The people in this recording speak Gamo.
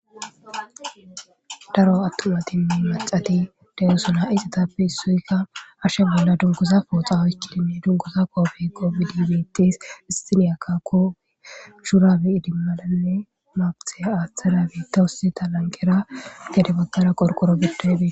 Daro attumatinne maccati de'osona. Issitappe issoyikka hashe bolla dunguza pooxa woykko dunguza qoobbe qoobidi beetes. Istiniyaka qoobe shurabe idimadane maabite aaththada betawusu . Ha lanqera gede baggara qorqoro giddoy betees.